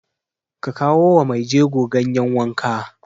Ka kawo wa maijego ganyen wanka!